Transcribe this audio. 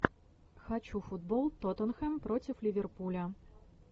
хочу футбол тоттенхэм против ливерпуля